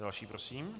Další prosím.